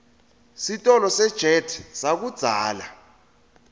sitolo sejet sakudzala